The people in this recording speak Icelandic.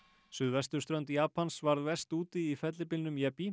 suðvesturströnd Japans varð verst úti í fellibylnum